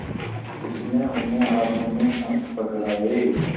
उसने उन्हें हाथों में अंक पकड़ाए